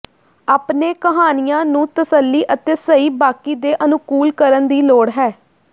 ਆਪਣੇ ਕਹਾਣੀਆ ਨੂੰ ਤਸੱਲੀ ਅਤੇ ਸਹੀ ਬਾਕੀ ਦੇ ਅਨੁਕੂਲ ਕਰਨ ਦੀ ਲੋੜ ਹੈ